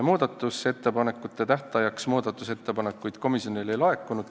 Muudatusettepanekute esitamise tähtajaks muudatusettepanekuid komisjonile ei laekunud.